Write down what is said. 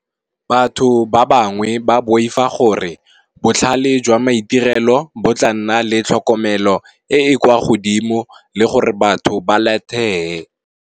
Batho ba bangwe ba boifa gore botlhale jwa maitirelo, bo tla nna le tlhokomelo e e kwa godimo le gore batho ba late